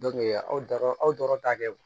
aw dara aw dɔrɔn ta kɛ